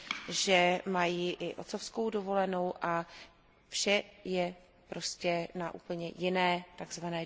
že mají i otcovskou dovolenou, a vše je prostě na úplně jiné, tzv.